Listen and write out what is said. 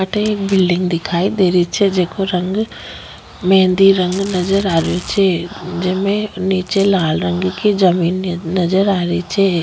अठे एक बिल्डिंग दिखाई दे रही छे जेको रंग मेहंदी रंग नजर आ रहियो छे जेमे नीचे लाल रंग की जमीन नजर आ रही छे।